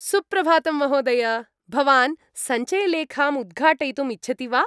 सुप्रभातं महोदय, भवान् सञ्चयलेखाम् उद्घाटयितुम् इच्छति वा?